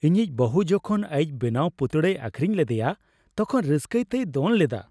ᱤᱧᱤᱡ ᱵᱟᱹᱦᱩ ᱡᱚᱠᱷᱚᱱ ᱟᱹᱭᱤᱡ ᱵᱮᱱᱟᱣ ᱯᱩᱛᱲᱟᱹᱭ ᱟᱹᱠᱷᱨᱤᱧ ᱞᱮᱫᱮᱭᱟ ᱛᱚᱠᱷᱚᱱ ᱨᱟᱹᱥᱠᱟᱹᱛᱮᱭ ᱫᱚᱱ ᱞᱮᱫᱟ ᱾